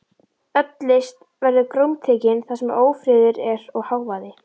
Öll list verður grómtekin þar sem ófriður er og hávaði.